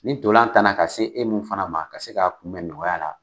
Ni tolan tanna ka se e min fana ma ka se k'a kunbɛn nɔgɔya la